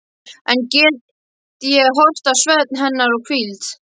Enn get ég horft á svefn hennar og hvíld.